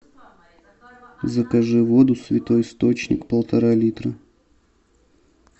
закажи воду святой источник полтора литра